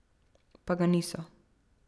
Pa ga niso.